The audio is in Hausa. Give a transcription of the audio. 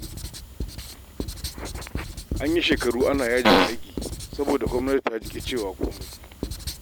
An yi shekaru ana yajin aiki saboda gwamnati ta ƙi cewa komai